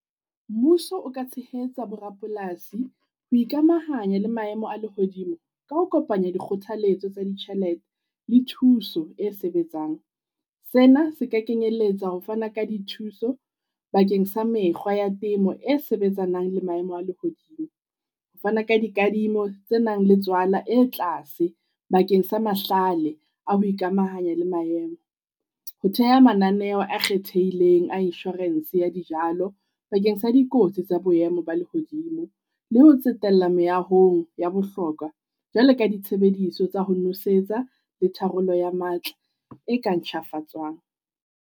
Mmuso o ka tshehetsa borapolasi ho ikamahanya le maemo a lehodimo ka ho kopanya dikgothaletso tsa le thuso e sebetsang. Sena se ka kenyelletsa ho fana ka dithuso bakeng sa mekgwa ya temo e sebetsanang le maemo a lehodimo. Ho fana ka dikadimo tse nang le tswala e tlase bakeng sa mahlale a ho ikamahanya le maemo. Ho theha mananeho a kgethehileng a insurance ya dijalo bakeng sa dikotsi tsa boemo ba lehodimo, le ho tsetella meahong ya bohlokwa jwale ka ditshebediso tsa ho nosetsa le tharollo ya matla e ka ntjhafatswang.